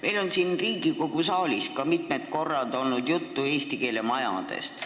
Meil on ka siin Riigikogu saalis olnud mitu korda juttu eesti keele majadest.